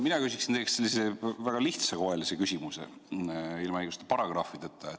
Mina küsin väga lihtsakoelise küsimuse, ilma igasuguste paragrahvideta.